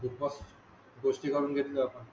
गोष्टी करून घेतला पण.